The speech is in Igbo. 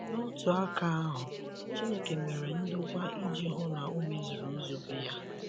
N’otu aka ahụ, Chineke mere ndokwa iji hụ na o mezuru nzube ya.